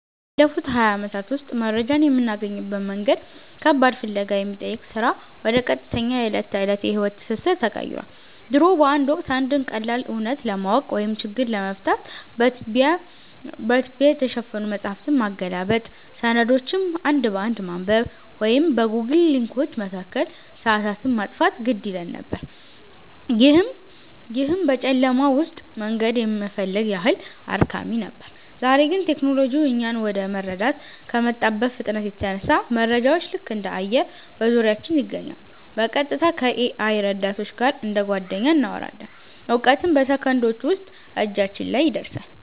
ባለፉት ሃያ ዓመታት ውስጥ መረጃን የምናገኝበት መንገድ ከባድ ፍለጋ ከሚጠይቅ ሥራ ወደ ቀጥተኛ የዕለት ተዕለት የሕይወት ትስስር ተቀይሯል። ድሮ በአንድ ወቅት፣ አንድን ቀላል እውነት ለማወቅ ወይም ችግር ለመፍታት በትቢያ የተሸፈኑ መጻሕፍትን ማገላበጥ፣ ሰነዶችን አንድ በአንድ ማንበብ ወይም በጎግል ሊንኮች መካከል ሰዓታትን ማጥፋት ግድ ይለን ነበር፤ ይህም ልክ በጨለማ ውስጥ መንገድ የመፈለግ ያህል አድካሚ ነበር። ዛሬ ግን ቴክኖሎጂው እኛን ወደ መረዳት ከመጣበት ፍጥነት የተነሳ፣ መረጃዎች ልክ እንደ አየር በዙሪያችን ይገኛሉ—በቀጥታ ከ-AI ረዳቶች ጋር እንደ ጓደኛ እናወራለን፣ እውቀትም በሰከንዶች ውስጥ እጃችን ላይ ይደርሳል።